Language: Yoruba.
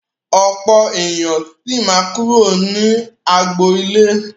Ọ̀pọ̀ ènìyàn sì máa kúrò ní agboolé.